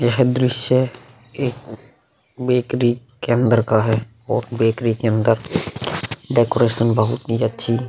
यह दृश्य एक बेकरी के अंदर का है और बेकरी के अंदर डेकोरेशन बहुत ही अच्छी --